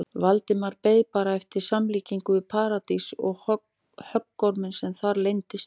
Valdimar beið bara eftir samlíkingu við Paradís og höggorminn sem þar leyndist.